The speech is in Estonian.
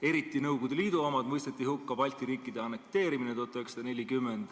Eriti Nõukogude Liidu omad mõisteti hukka, sh Balti riikide annekteerimine 1940.